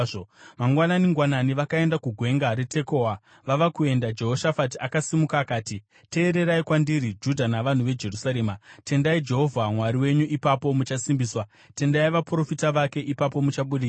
Mangwanani-ngwanani vakaenda kuGwenga reTekoa. Vava kuenda, Jehoshafati akasimuka akati, “Teererai kwandiri, Judha navanhu veJerusarema! Tendai Jehovha Mwari wenyu ipapo muchasimbiswa; tendai vaprofita vake ipapo muchabudirira.”